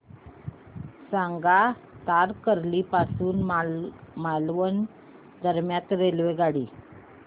सांगा तारकर्ली पासून मालवण दरम्यान रेल्वेगाडी